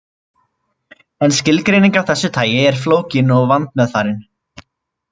En skilgreining af þessu tagi er flókin og vandmeðfarin.